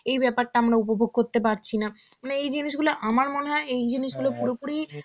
এই ব্যাপারটা আমরা উপভোগ করতে পারছি না. মানে এই জিনিসগুলো আমার মনে হয় এই জিনিসগুলো পুরোপুরি